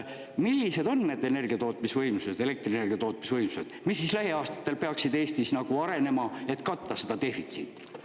Millised on need energiatootmisvõimsused, elektrienergia tootmisvõimsused, mis siis lähiaastatel peaksid Eestis arenema, et katta seda defitsiiti?